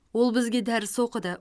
ол бізге дәріс оқыды